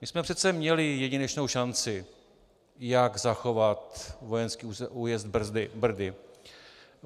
My jsme přece měli jedinečnou šanci, jak zachovat vojenský újezd Brdy.